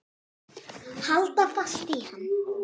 Halda fast í hann!